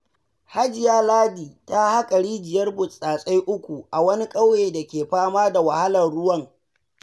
Hajiya Ladi ta haƙa rijiyar burtsatsai 3, a wani ƙauye dake fama da wahalar ruwan,